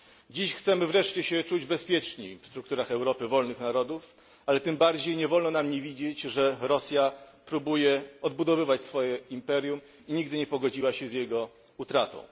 Dziś chcemy wreszcie czuć się bezpieczni w strukturach Europy wolnych narodów, ale tym bardziej nie wolno nam nie widzieć, że Rosja próbuje odbudowywać swoje imperium i nigdy nie pogodziła się z jego utratą.